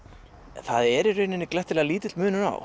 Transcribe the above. það er í rauninni glettilega lítill munur á